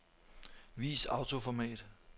Vis autoformat.